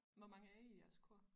Hvor mange er I i jeres kor